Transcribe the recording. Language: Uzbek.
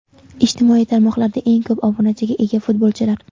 Ijtimoiy tarmoqlarda eng ko‘p obunachiga ega futbolchilar.